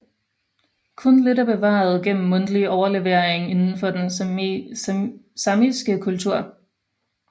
Kun lidt er bevaret gennem mundtlig overlevering indenfor den samiske kultur